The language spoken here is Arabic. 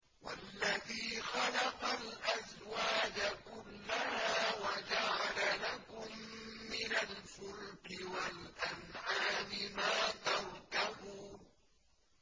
وَالَّذِي خَلَقَ الْأَزْوَاجَ كُلَّهَا وَجَعَلَ لَكُم مِّنَ الْفُلْكِ وَالْأَنْعَامِ مَا تَرْكَبُونَ